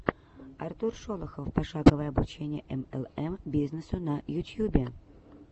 артур шолохов пошаговое обучение млм бизнесу на ютьюбе